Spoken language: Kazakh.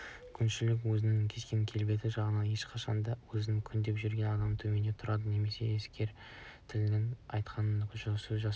күншіл өзінің кескін-келбеті жағынан әрқашан да өзі күндеп жүрген адамнан төмен тұрады немесе әскер тілімен айтқанда сөз тасушы